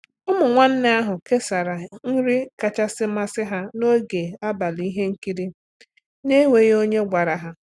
Ụmụ nwanne ahụ kesara nri kachasị amasị ha n’oge abalị ihe nkiri na-enweghị onye gwara ha.